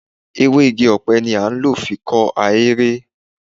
Ewé igi ọ̀pẹ ni a ń lò fi kọ́ ahéré.